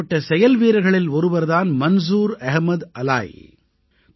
இப்படிப்பட்ட செயல்வீரர்களில் ஒருவர் தான் மன்சூர் அஹ்மத் அலாயி